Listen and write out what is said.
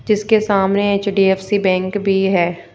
जिसके सामने HDFC bank भी है।